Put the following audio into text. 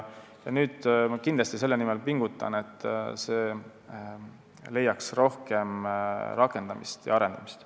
Nüüd ma kindlasti pingutan selle nimel, et see leiaks rohkem rakendamist ja arendamist.